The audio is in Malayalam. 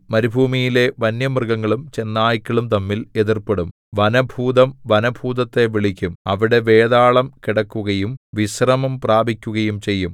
മരുഭൂമിയിലെ വന്യമൃഗങ്ങളും ചെന്നായ്ക്കളും തമ്മിൽ എതിർപ്പെടും വനഭൂതം വനഭൂതത്തെ വിളിക്കും അവിടെ വേതാളം കിടക്കുകയും വിശ്രമം പ്രാപിക്കുകയും ചെയ്യും